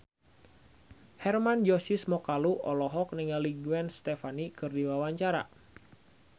Hermann Josis Mokalu olohok ningali Gwen Stefani keur diwawancara